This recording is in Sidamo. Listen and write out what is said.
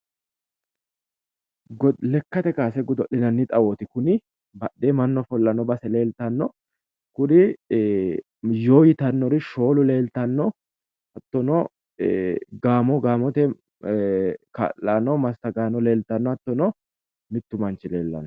Lekka kaase godol'lnanni xawooti kuni. Badheenni mannu ofollanno base leeltano kuri yoo yiyannori shoolu leeltanno hattono gaamo gaamote kaa'laano massagaano leeltanno hattono mittu manchi leellanno.